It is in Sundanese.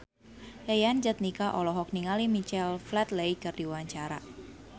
Yayan Jatnika olohok ningali Michael Flatley keur diwawancara